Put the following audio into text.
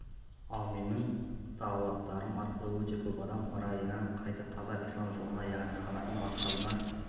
ал менің дағуаттарым арқылы өте көп адам райынан қайтып таза ислам жолына яғни ханафи мазхабына